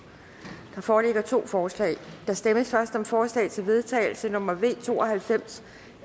der foreligger to forslag der stemmes først om forslag til vedtagelse nummer v to og halvfems